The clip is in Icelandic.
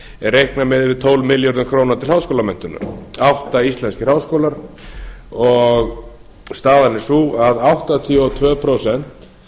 reiknað með tólf milljörðum króna til háskólamenntunar átta íslenskir háskólar og staðan er sú að áttatíu og tvö prósent